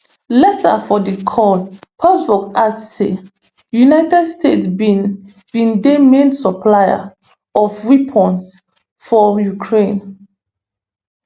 later for di call peskov add say united states bin bin dey main supplier of weapons for ukraine